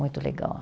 Muito legal.